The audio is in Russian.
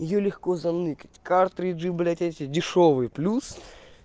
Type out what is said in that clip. её легко заныкать картриджи блядь эти дешёвые плюс